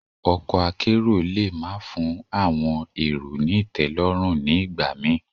Ọkọ̀ akérò le má fún àwọn èrò ni ìtẹ́lọ́rùn ní ìgbà mi.